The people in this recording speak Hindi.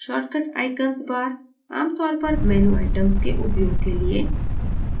shortcut icons bar आमतौर पर menu items के उपयोग के लिए